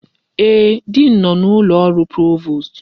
Ee, diin nọ n'ụlọ ọrụ provost.